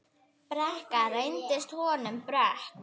Brekka reynst honum brött.